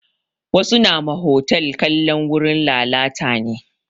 Wasu nama hotal kalan wurin lalata ne